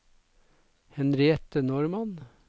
Henriette Normann